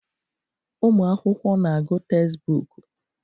ụmụ akwụkwọ na-agụ tezbọọku.